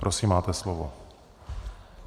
Prosím, máte slovo.